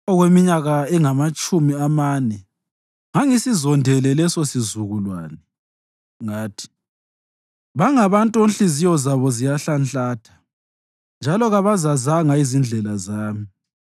Okweminyaka engamatshumi amane ngangisizondele lesosizukulwane; ngathi, “Bangabantu onhliziyo zabo ziyahlanhlatha, njalo kabazazanga izindlela zami.”